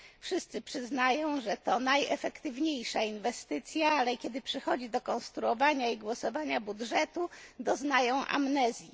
Wszyscy przyznają, że to najefektywniejsza inwestycja, ale kiedy przychodzi do konstruowania i głosowania budżetu, doznają amnezji.